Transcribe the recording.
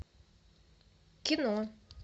кино